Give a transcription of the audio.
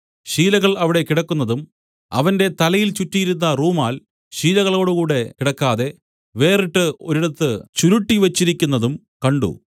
ശീലകൾ അവിടെ കിടക്കുന്നതും അവന്റെ തലയിൽ ചുറ്റിയിരുന്ന റൂമാൽ ശീലകളോടുകൂടെ കിടക്കാതെ വേറിട്ടു ഒരിടത്ത് ചുരുട്ടിവെച്ചിരിക്കുന്നതും കണ്ട്